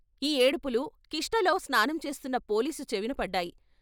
ఈ ఏడుపులు క్రిష్ణలో స్నానంచేస్తున్న పోలీసు చెవిన పడ్డాయి.